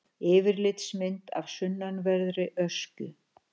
Yfirlitsmynd af sunnanverðri Öskju.